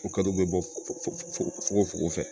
O kad'u bɛ bɔ fuko fogo fogo